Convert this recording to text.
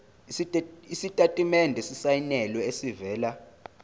isitatimende esisayinelwe esivela